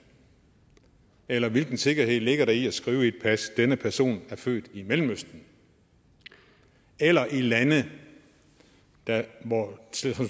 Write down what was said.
eller hvilken sikkerhed ligger der i at skrive i et pas denne person er født i mellemøsten eller i et land der